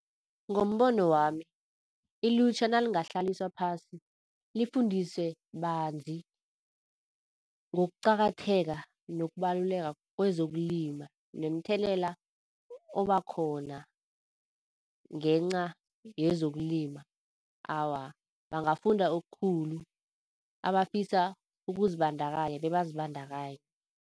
Ngombono wami, ilutjha nalingahlaliswa phasi lifundiswe banzi ngokuqakatheka nokubaluleka kwezokulima nomthelela obakhona ngenca yezokulima. Awa, bangafunda okukhulu, abafisa ukuzibandakanya bebazibandakanye.